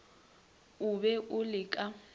o be o le ka